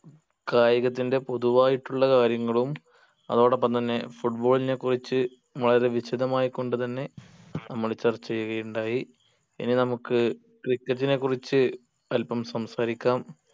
കായികത്തിന്റെ പൊതുവായിട്ടുള്ള കാര്യങ്ങളും അതോടൊപ്പം തന്നെ football നെ കുറിച്ച് വളരെ വിശദമായി കൊണ്ട് തന്നെ നമ്മൾ ചർച്ച ചെയ്യുകയുണ്ടായി ഇനി നമ്മുക്ക് cricket നെ കുറിച്ച് അല്പം സംസാരിക്കാം